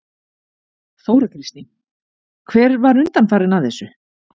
Þóra Kristín: Hver var undanfarinn að þessu?